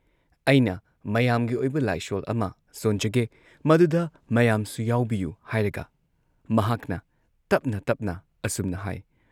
ꯑꯩꯅ ꯃꯌꯥꯝꯒꯤ ꯑꯣꯏꯕ ꯂꯥꯏꯁꯣꯟ ꯑꯃ ꯁꯣꯟꯖꯒꯦ ꯃꯗꯨꯗ ꯃꯌꯥꯝꯁꯨ ꯌꯥꯎꯕꯤꯌꯨ ꯍꯥꯏꯔꯒ ꯃꯍꯥꯛꯅ ꯇꯞꯅ ꯇꯞꯅ ꯑꯁꯨꯝꯅ ꯍꯥꯏ